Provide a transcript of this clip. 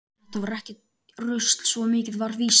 Þetta var ekki rusl, svo mikið var víst.